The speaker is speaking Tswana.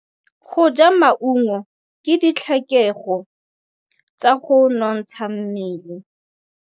Go ja maungo ke ditlhokegô tsa go nontsha mmele.